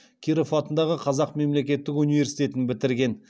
киров атындағы қазақ мемлекеттік университетін бітірген